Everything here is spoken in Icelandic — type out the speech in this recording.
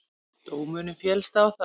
Dómurinn féllst á það.